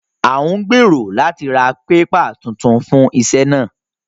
À ń gbèrò láti ra pépà tuntun fún iṣẹ́ náà